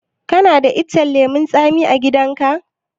Kana da icen lemun tsami a gidan ka?